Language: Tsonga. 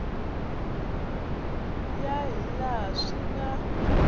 ya hi laha swi nga